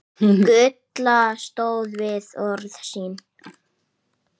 Gulla stóð við orð sín.